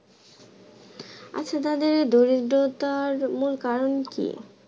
আচ্ছা তাদের দরিদ্রতার মূল কারণ কি?